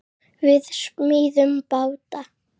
Við smíðum báta.